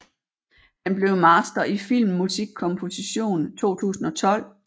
Han blev master i filmmusikkomposition 2012